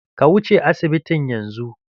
Ka wuce asibitin yanzu!